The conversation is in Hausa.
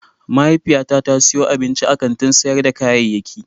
Mahaifiyata ta siyo abinci a kantin sayar da kayayyaki.